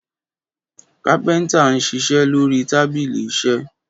Kápéntà n sísé lori tábílì Isé